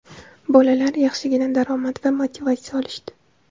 Bolalar yaxshigina daromad va motivatsiya olishdi) .